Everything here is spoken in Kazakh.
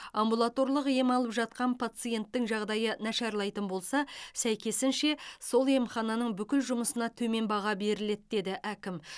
амбулаторлық ем алып жатқан пациенттің жағдайы нашарлайтын болса сәйкесінше сол емхананың бүкіл жұмысына төмен баға беріледі деді әкім